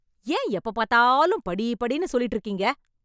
ஏன் எப்ப பாத்தாலும் படி படின்னு சொல்லிட்டு இருக்கீங்க